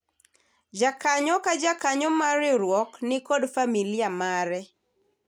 jakanyo ka jakanyo mar riwruok nikod familia mare